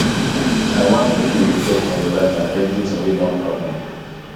i wan make you reflect on your life and everything wey don happen